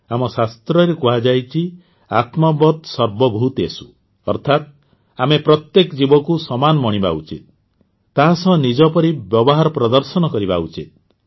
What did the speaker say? ଆମ ଶାସ୍ତ୍ରରେ କୁହାଯାଇଛି ଆତ୍ମବତ୍ ସର୍ବଭୂତେଷୁ ଅର୍ଥାତ ଆମେ ପ୍ରତ୍ୟେକ ଜୀବକୁ ସମାନ ମଣିବା ଉଚିତ ତାହା ସହ ନିଜ ପରି ବ୍ୟବହାର ପ୍ରଦର୍ଶନ କରିବା ଉଚିତ